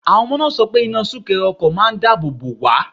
Àwọn ọmọ náà sọ pé iná súnkẹrẹ ọkọ̀ máà ń dáàbò bò wá.